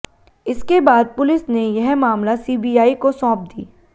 इसके बाद पुलिस ने यह मामला सीबीआई को सौंप दी